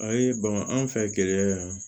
A ye bama an fɛ gɛlɛya